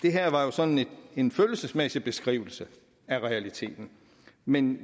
sådan en følelsesmæssig beskrivelse af realiteten men